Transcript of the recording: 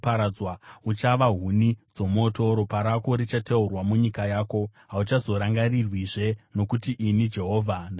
Uchava huni dzomoto, ropa rako richateurwa munyika yako, hauchazorangarirwazve; nokuti ini Jehovha ndazvitaura.’ ”